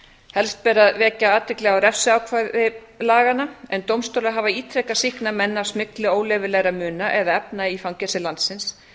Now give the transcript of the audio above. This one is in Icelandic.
helst ber að vekja athygli á refsiákvæði laganna en dómstólar hafa ítrekað sýknað menn af smygli óleyfilegra muna eða efna í fangelsi landsins